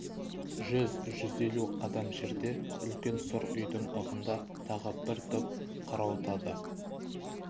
жүз-жүз елу қадам жерде үлкен сұр үйдң ығында тағы бір топ қарауытады